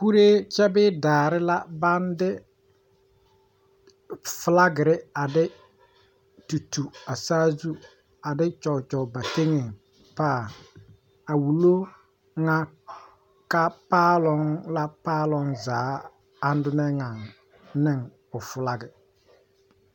Kuure kyɛ bee daare la baŋ de flagire a de tutu a saazu a de kyɔkyɔ ba teŋɛ paa a wulo ŋa ka paaloŋ la paaloŋ zaa andonne ŋaŋ ne o flagie